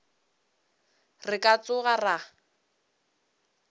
re ka se tsoge ra